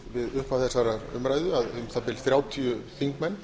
við upphaf þessarar umræðu að um það bil þrjátíu þingmenn